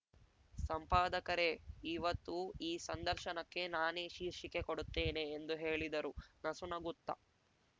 ಸಂಪಾದಕರೇ ಇವತ್ತು ಈ ಸಂದರ್ಶನಕ್ಕೆ ನಾನೇ ಶೀರ್ಷಿಕೆ ಕೊಡುತ್ತೇನೆ ಎಂದು ಹೇಳಿದರು ನಸುನಗುತ್ತ